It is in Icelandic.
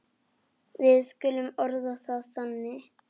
Við skulum orða það þannig.